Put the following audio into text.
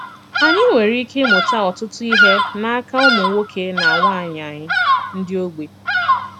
Ànyị̀ nwere ìkè ịmùtà ọ̀tùtù ihe n’aka ùmụ̀ nwoke na nwaanyị ànyị̀ ndị ogbi. ”